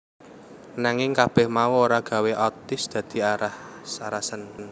Nanging kabeh mau ora gawé Otis dadi aras arasen